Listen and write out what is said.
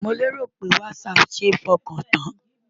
Mo lérò pé Whatsapp ṣe é fọkàn tán?